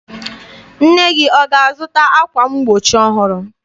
Nne gị ọ ga-azụta ákwà mgbochi ọhụrụ?